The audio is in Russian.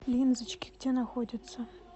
линзочки где находится